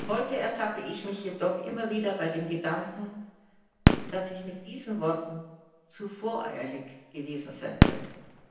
Heute ertappe ich mich jedoch immer wieder bei dem Gedanken, dass ich mit diesen Worten zu voreilig gewesen sein könnte.